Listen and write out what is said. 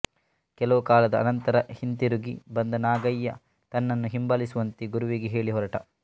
ಕೆಲವು ಕಾಲದ ಅನಂತರ ಹಿಂತಿರುಗಿ ಬಂದ ನಾಗಯ್ಯ ತನ್ನನ್ನು ಹಿಂಬಾಲಿಸುವಂತೆ ಗುರುವಿಗೆ ಹೇಳಿ ಹೊರಟ